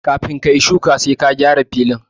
Kafin ka yi shuƙi sai ka gyara filin